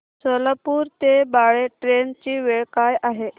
सोलापूर ते बाळे ट्रेन ची वेळ काय आहे